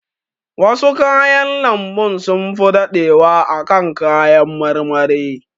Wasu kayan lambun sunfi daɗewa a kan kayan marmari.